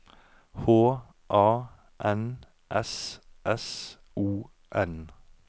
H A N S S O N